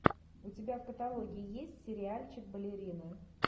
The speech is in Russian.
у тебя в каталоге есть сериальчик балерины